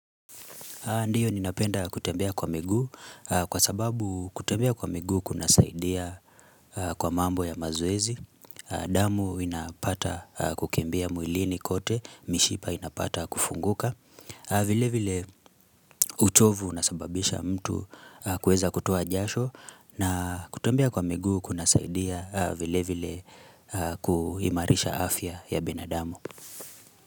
Ndiyo ninapenda kutembea kwa miguu kwa sababu kutembea kwa miguu kuna saidia kwa mambo ya mazoezi. Damu inapata kukimbia mwilini kote mishipa inapata kufunguka. Vilevile uchovu unasababisha mtu kueza kutoa jasho na kutembea kwa miguu kunasaidia vilevile kuhimarisha afya ya binadamu.